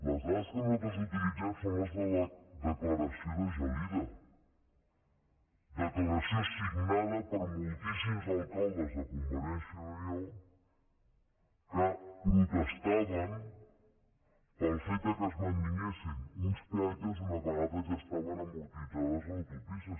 les dades que nosaltres utilitzem són les de la declaració de gelida declaració signada per moltíssims alcaldes de convergència i unió que protestaven pel fet que es mantinguessin uns peatges una vegada ja estaven amortitzades les autopistes